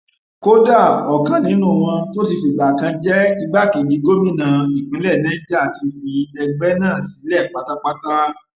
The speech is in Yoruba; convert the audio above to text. kódà ọkan nínú wọn tó ti fìgbà kan jẹ igbákejì gómìnà ìpínlẹ niger ti fi ẹgbẹ náà sílẹ pátápátá